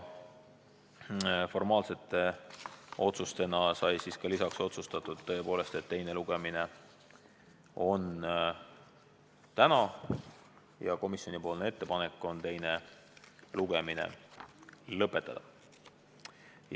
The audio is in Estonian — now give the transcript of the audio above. Formaalsete otsustena sai otsustatud, et teine lugemine on täna ja komisjoni ettepanek on teine lugemine lõpetada.